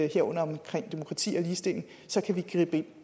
herunder omkring demokrati og ligestilling så kan vi gribe ind